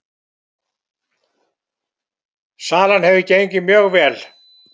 Salan hefur gengið mjög vel